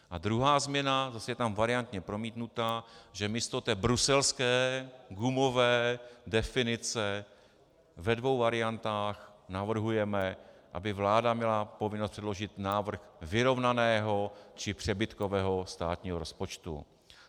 A druhá změna - zase je tam variantně promítnutá, že místo té bruselské, gumové definice ve dvou variantách navrhujeme, aby vláda měla povinnost předložit návrh vyrovnaného či přebytkového státního rozpočtu.